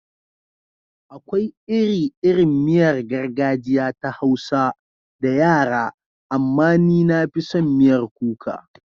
Akwai iri-irin miyar gargajiya ta Hausa da yara, amma ni na fi son miyar kuka.